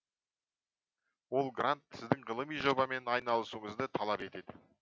ол грант сіздің ғылыми жобамен айналысуыңызды талап етеді